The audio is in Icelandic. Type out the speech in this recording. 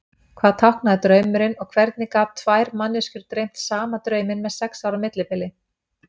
Hvað táknaði draumurinn og hvernig gat tvær manneskjur dreymt sama drauminn með sex ára millibili?